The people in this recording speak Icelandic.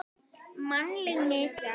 Mannleg mistök?